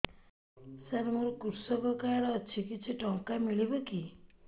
ସାର ମୋର୍ କୃଷକ କାର୍ଡ ଅଛି କିଛି ଟଙ୍କା ମିଳିବ କି